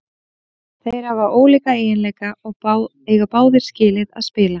Þeir hafa ólíka eiginleika og eiga báðir skilið að spila.